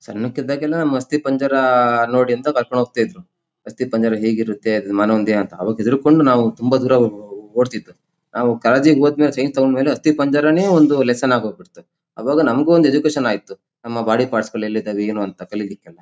ಸಣ್ಣಕ್ಕಿದ್ದಾಗ ಎಲ್ಲ ಅಸ್ಥಿ ಪಂಜರ ನೋಡಿ ಅಂತ ಕರ್ಕೊಂಡ್ ಹೋಗ್ತಾ ಇದ್ರು. ಅಸ್ಥಿ ಪಂಜರ ಹೇಗಿರುತ್ತೆ ಅದ್ ಮಾನವನ ದೇಹ ಅಂತ ಅವಾಗ ಹೆದ್ರ್ ಕೊಂಡು ನಾವು ತುಂಬ ದೂರ ಓಡ್ತಿದ್ದು ನಾವು ಕಾಲೇಜ್ ಗೆ ಹೋದ್ ಮೇಲೆ ಸೈನ್ಸ್ ತಕೊಂಡ್ ಮೇಲೆ ಅಸ್ಥಿಪಂಜರವೇ ಒಂದ್ ಲೆಸ್ಸೆನ್ ಆಗೋಗ್ಬಿಡ್ತು ಆವಾಗ ನಮ್ಗೂ ಒಂದು ಎಜುಕೇಷನ್ ಆಯ್ತು ನಮ್ಮ ಬಾಡಿ ಪಾರ್ಟ್ಸ್ ಗಳ್ ಎಲ್ಲಿದವೆ ಏನು ಅಂತ ಕಲಿಲಿಕ್ಕೆಲ್ಲ--